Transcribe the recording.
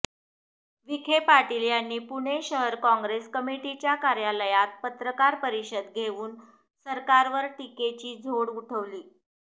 विखे पाटील यांनी पुणे शहर काँग्रेस कमिटीच्या कार्यालयात पत्रकार परिषद घेऊन सरकारवर टीकेची झोड उठवली